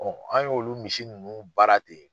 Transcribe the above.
an ye olu misi ninnu baara ten.